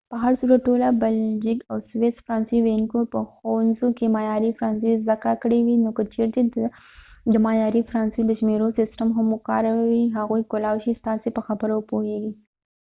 په هر صورت ټولو بلژیک او سویس فرانسوي ویونکو به په ښوونځي کې معیاري فرانسوي زده کړې وي نو که چیرې ته د معیاري فرانسوۍ د شمیرو سیستم هم وکاروې هغوی کولای شي ستاسې په خبرو وپوهیږي